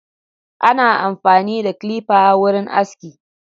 Ana amfani da clipper wurin aski.